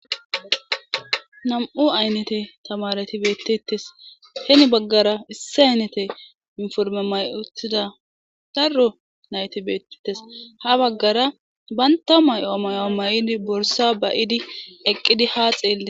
nam7u aynnete tamareti beettetes heni baggara issi aynete informe may7etida darro nayti beettetes ha baggara baynta may7o amayoa may7idi borsa bayidi eqqidi haa xeele